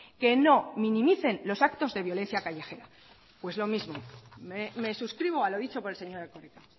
que no minimicen los actos de violencia callejera pues lo mismo me suscribo a lo dicho por el señor erkoreka